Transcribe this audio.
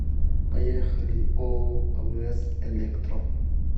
поехали ооо авс электро